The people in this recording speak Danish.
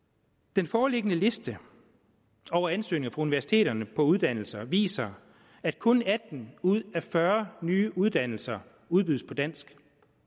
den foreliggende liste over ansøgninger universiteterne på uddannelser viser at kun atten ud af fyrre nye uddannelser udbydes på dansk